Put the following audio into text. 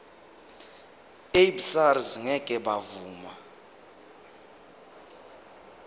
abesars ngeke bavuma